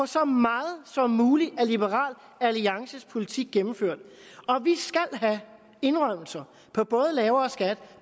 så meget som muligt af liberal alliances politik gennemført og vi skal have indrømmelser på både lavere skat